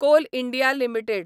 call India limited